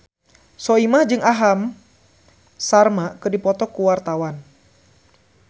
Soimah jeung Aham Sharma keur dipoto ku wartawan